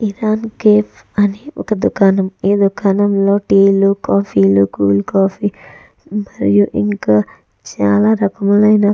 Irani cafe అని ఒక దుకాణం ఈ దుకాణం లో టీ లు కాఫీ లు కోల్డ్ కాఫీ మరియు ఇంకా చాల రకములై --